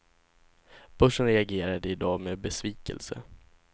Börsen reagerade i dag med besvikelse.